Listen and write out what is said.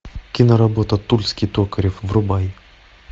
киноработа тульский токарев врубай